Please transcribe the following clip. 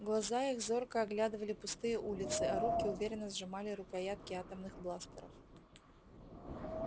глаза их зорко оглядывали пустые улицы а руки уверенно сжимали рукоятки атомных бластеров